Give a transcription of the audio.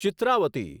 Chitravati